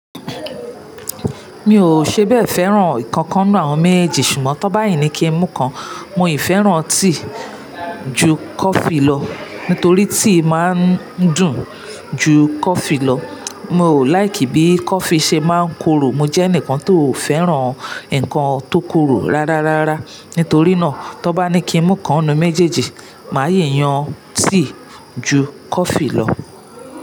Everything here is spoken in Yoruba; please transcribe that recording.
Mi ò ṣébẹ̀ fẹ́ràn ìkankan nínú àwọn méjèèjì ṣùgbọ́n tọ́ bá ní kí n mu kan, mo ì fẹ́ràn tea ju coffee lọ. Nítorí tea máa ń dùn ju coffee lọ. Mo ò láìkì bí coffee ṣe máa ń koro, mo jẹ́ ẹnìkan tò fẹ́ràn nǹkan tó koro rárá rárá. Nítorí náà, tọ́ bá ní kí n mù kan nínú méjèèjì, màá yíyan tea ju coffee lọ.